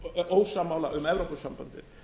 ósammála um evrópusambandið